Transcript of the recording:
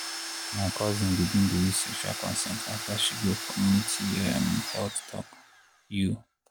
my cousin begin dey use sexual consent after she go community um health talk. you